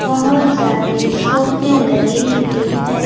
बहोत ज्यादे सोफे लगे हुए हैं।